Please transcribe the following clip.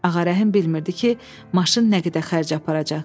Ağarəhim bilmirdi ki, maşın nə qədər xərc aparacaq.